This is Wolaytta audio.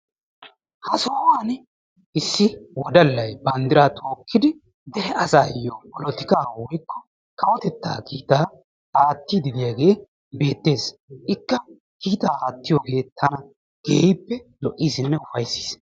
Ha sohuwaani issi wodallayi banddiraa tookkidi dere asaayyo polotikaaa woyikko kawotettaa kiitaa aattiiddi de7iyagee beettes. Ikka kiitaa aattiyooge tana keehippe lo7iisinne ufayissis.